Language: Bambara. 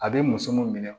A bɛ muso mun minɛ